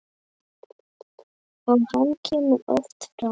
Og hann kemur oft fram.